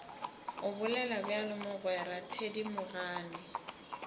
o bolela bjalo mogwera thedimogane